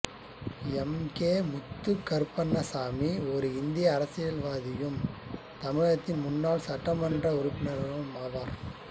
M K Muthukaruppannasamy ஓர் இந்திய அரசியல்வாதியும் தமிழகத்தின் முன்னாள் சட்டமன்ற உறுப்பினரும் ஆவார்